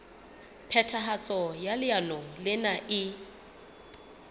phethahatso ya leano lena e